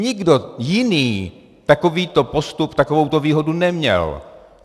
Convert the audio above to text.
Nikdo jiný takovýto postup, takovouto výhodu neměl.